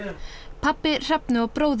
pabbi Hrefnu og bróðir